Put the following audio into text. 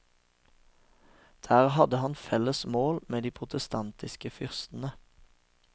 Der hadde han felles mål med de protestantiske fyrstene.